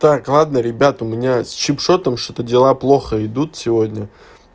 так ладно ребят у меня с чиксотом что-то дела плохо идут сегодня